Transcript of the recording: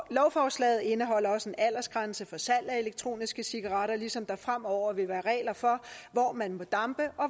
lovforslaget indeholder også en aldersgrænse for salg af elektroniske cigaretter ligesom der fremover vil være regler for hvor man må dampe og